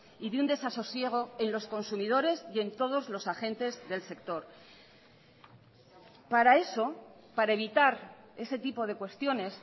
y de un desasosiego en los consumidores y en todos los agentes del sector para eso para evitar ese tipo de cuestiones